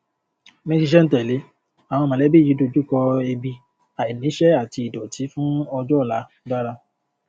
ní sísèńtẹlé àwọn mọlẹbí yìí dojú kọ ebi àìníṣẹ àti ìdòtí fún ọjọ ọla dára